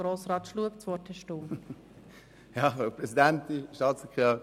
Grossrat Schlup, Sie haben das Wort.